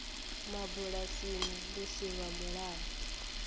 mabulasini lu si lwa mulayo